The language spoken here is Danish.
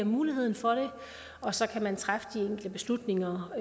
muligheden for det og så kan man træffe de enkelte beslutninger